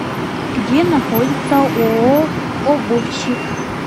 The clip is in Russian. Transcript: где находится ооо обувщик